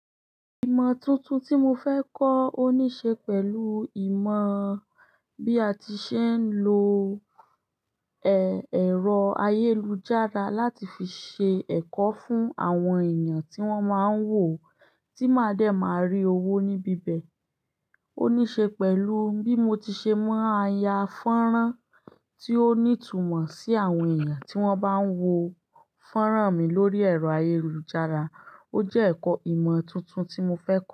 Ìmọ̀ tuntun tí mo fẹ́ kọ́, ó níṣe pẹ̀lú ìmọ̀ bí a ti ṣe ń lo, ẹ̀rọ ayélujára láti fi ṣe ẹ̀kọ́ fún àwọn èèyàn tí wọ́n máa ń wò, tí máa dẹ̀ máa rí owó níbi ibẹ̀. Ó níṣe pẹ̀lú bí mo ti ṣe ma ya fọ́nrán tí ó ní ìtumọ̀ sí àwọn èèyàn tí wọ́n bá ń wo fọ́nrán mi lórí ẹ̀rọ ayélujára. Ó jẹ́ ẹ̀kọ́ ìmọ̀ tuntun tí mo fẹ́ kọ́.